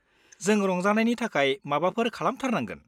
जों रंजानायनि थाखाय माबाफोर खालामथारनांगोन।